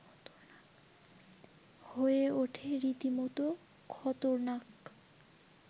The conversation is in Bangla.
হয়ে ওঠে রীতিমতো খতরনাক